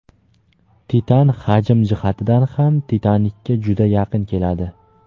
"Titan" hajm jihatidan ham "Titanik"ka juda yaqin keladi.